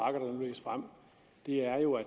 det er jo